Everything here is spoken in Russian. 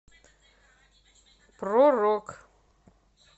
про рок